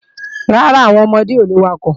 Rárá, àwọn ọmọdé ò le wakọ̀